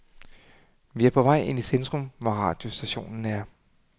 Vi er på vej ind i centrum, hvor radiostationen er.